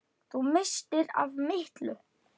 Þú misstir af miklu!